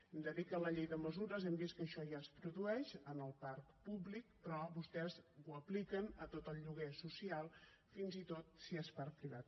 hem de dir que en la llei de mesures hem vist que això ja es produeix en el parc públic però vostès ho apliquen a tot el lloguer social fins i tot si és per a privat